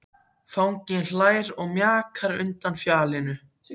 Fanginn hlær og mjakar sér undan fjallinu.